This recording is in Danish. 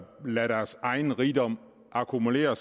lader deres egen rigdom akkumulere